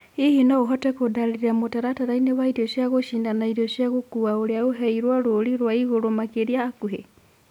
hĩhĩ no uhote kundariria mũtarataraĩnĩ wa ĩrĩo cĩa gĩchĩna wa ĩrĩo cĩa gũkũwa uria uheirwo rũrĩ rwa ĩgũrũ makĩrĩa hakuhi